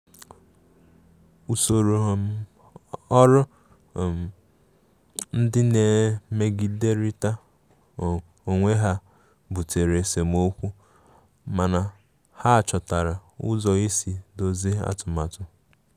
Usoro um ọrụ um ndị na-emegiderịta onwe ha butere esemokwu, mana ha chọtara ụzọ isi dọzie atụmatụ.